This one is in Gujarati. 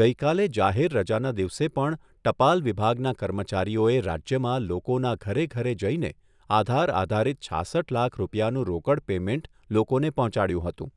ગઈકાલે જાહેર રજાના દિવસે પણ ટપાલ વિભાગના કર્મચારીઓ એ રાજ્યમાં લોકોના ઘરે ઘરે જઈને આધાર આધારિત છાસઠ લાખ રૂપિયાનું રોકડ પેમેન્ટ લોકોને પહોંચાડ્યું હતું.